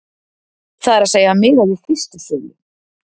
Það er að segja miðað við fyrstu sölu,